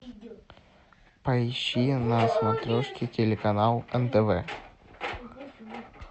поищи на смотрешке телеканал нтв